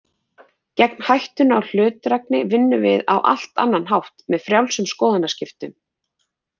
Gegn hættunni á hlutdrægni vinnum við á allt annan hátt, með frjálsum skoðanaskiptum.